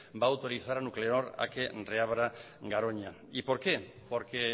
va a autorizar a nuclenor a que reabra garoña y por qué porque